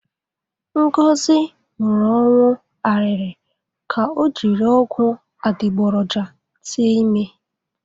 Ngozi nwụrụ ọnwụ arịrị ka o jiri ọgwụ adịgboroja tee ime.